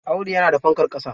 Audu yana da fankar ƙasa.